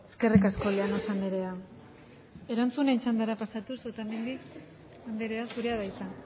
eskerrik asko llanos anderea erantzunen txandara pasatuz otamendi anderea zurea da hitza